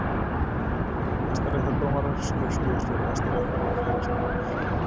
Hæstaréttardómarar, skrifstofustjóri Hæstaréttar og héraðsdómarar.